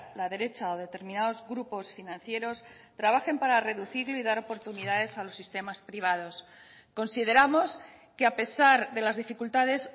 la derecha o determinados grupos financieros trabajen para reducir y dar oportunidades a los sistemas privados consideramos que a pesar de las dificultades